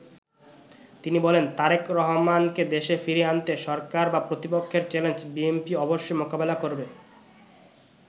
তিনি বলেন, ''তারেক রহমানকে দেশে ফিরিয়ে আনতে সরকার বা প্রতিপক্ষের চ্যালেঞ্জ বিএনপি অবশ্যই মোকাবেলা করবে।